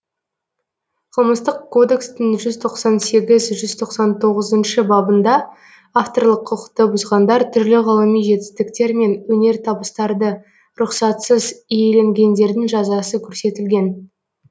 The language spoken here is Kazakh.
қылмыстық кодекстің жүз тоқсан сегіз жүз тоқсан тоғызыншы бабында авторлық құқықты бұзғандар түрлі ғылыми жетістіктер мен өнертабыстарды рұқсатсыз иеленгендердің жазасы көрсетілген